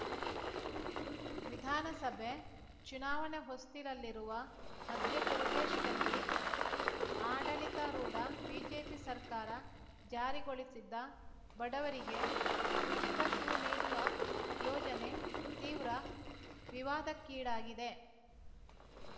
ವಿಧಾನಸಭೆ ಚುನಾವಣೆ ಹೊಸ್ತಿಲಲ್ಲಿರುವ ಮಧ್ಯಪ್ರದೇಶದಲ್ಲಿ ಆಡಳಿತಾರೂಢ ಬಿಜೆಪಿ ಸರ್ಕಾರ ಜಾರಿಗೊಳಿಸಿದ್ದ ಬಡವರಿಗೆ ಉಚಿತ ಶೂ ನೀಡುವ ಯೋಜನೆ ತೀವ್ರ ವಿವಾದಕ್ಕೀಡಾಗಿದೆ